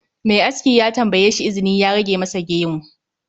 Mai aski ya tambayeshi izini ya rage masa gemu